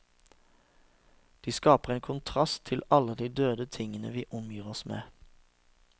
De skaper en kontrast til alle de døde tingene vi omgir oss med.